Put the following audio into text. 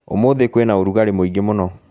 Ũmũthĩ kwĩna ũrugarĩ mwĩingĩ mũno